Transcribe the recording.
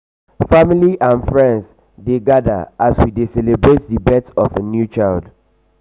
family and friends dey dey gather as we dey celebrate the birth of new life.